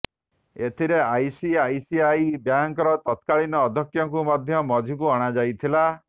ଏଥିରେ ଆଇସିଆଇସିଆଇ ବ୍ୟାଙ୍କର ତତ୍କାଳୀନ ଅଧ୍ୟକ୍ଷଙ୍କୁ ମଧ୍ୟ ମଝିକୁ ଅଣାଯାଇଥିଲା